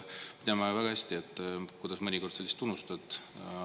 Me teame väga hästi, kuidas mõnikord sa lihtsalt unustad.